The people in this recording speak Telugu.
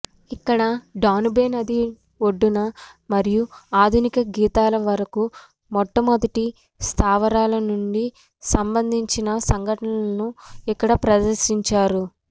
ఇక్కడ డానుబే నది ఒడ్డున మరియు ఆధునిక గీతాల వరకు మొట్టమొదటి స్థావరాల నుండి సంబందించిన సంఘటనలను ఇక్కడ ప్రదర్శించారు